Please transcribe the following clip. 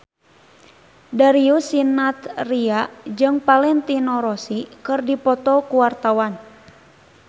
Darius Sinathrya jeung Valentino Rossi keur dipoto ku wartawan